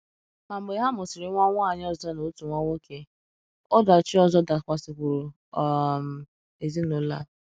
Ma mgbe ha mụsịrị nwa nwanyị ọzọ na otu nwa nwoke, ọdachi ọzọ dakwasịkwuru um ezinụlọ a.